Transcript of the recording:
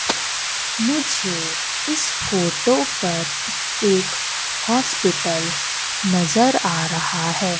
मुझे इस फोटो पर एक हॉस्पिटल नजर आ रहा है।